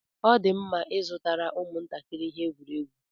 Ọ dị mma ịzụtara ụmụ ntakịrị ihe egwuregwu.